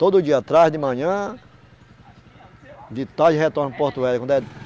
Todo dia traz de manhã, de tarde retorna para o Porto Velho. Quando é